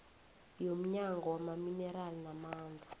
yomnyango wamaminerali namandla